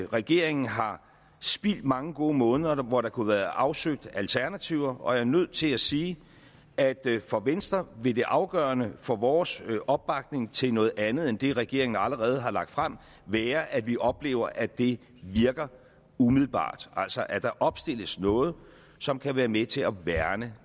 regeringen har spildt mange gode måneder hvor der kunne have været afsøgt alternativer og jeg er nødt til at sige at for venstre vil det afgørende for vores opbakning til noget andet end det regeringen allerede har lagt frem være at vi oplever at det virker umiddelbart altså at der opstilles noget som kan være med til at værne